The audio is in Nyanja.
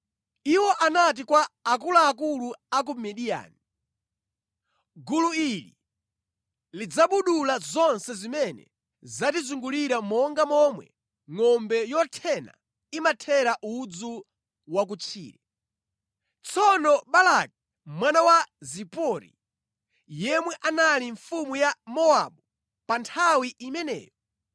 Iwo anati kwa akuluakulu a ku Midiyani, “Gulu ili lidzabudula zonse zimene zatizungulira monga momwe ngʼombe yothena imathera udzu wa ku tchire.” Tsono Balaki mwana wa Zipori, yemwe anali mfumu ya Mowabu pa nthawi imeneyo,